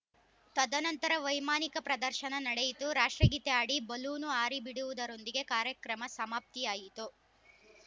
ತದನಂತರ ವೈಮಾನಿಕ ಪ್ರದರ್ಶನ ನಡೆಯಿತು ರಾಷ್ಟ್ರಗೀತೆ ಹಾಡಿ ಬಲೂನು ಹಾರಿಬಿಡುವುದರೊಂದಿಗೆ ಕಾರ್ಯಕ್ರಮ ಸಮಾಪ್ತಿಯಾಯಿತು